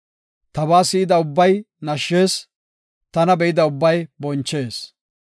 Tabaa si7ida ubbay nashshees; tana be7ida ubbay bonchees.